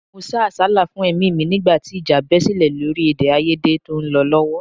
Mo sá àsálà fún ẹ̀mí mi nígbà tí ìjà bẹ sílẹ̀ lórí èdèàìyedè tó ń lọ lọ́wọ́